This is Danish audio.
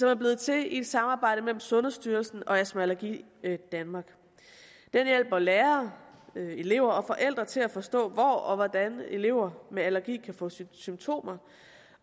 er blevet til i et samarbejde mellem sundhedsstyrelsen og astma allergi danmark den hjælper lærere elever og forældre til at forstå hvor og hvordan elever med allergi kan få symptomer